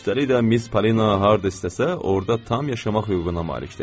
Üstəlik də Miss Polina harda istəsə, orda tam yaşamaq hüququna malikdir.